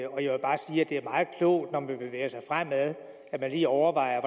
det er meget klogt når man bevæger sig fremad at man lige overvejer